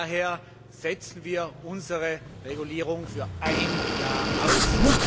Daher setzen wir unsere Regulierung für ein Jahr aus.